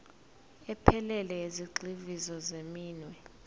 ephelele yezigxivizo zeminwe